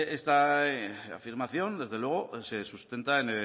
esta afirmación desde luego se sustenta en